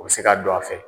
O bɛ se ka don a fɛ